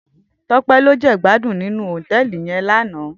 Tope lò jègbádún ninú hótèlí yèn làná